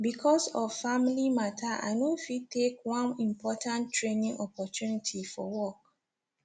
because of family matter i no fit take one important training opportunity for work